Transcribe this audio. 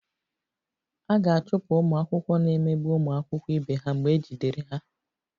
A ga-achụpụ ụmụ akwụkwọ na-emegbu ụmụ akwụkwọ ibe ha mgbe ejidere ha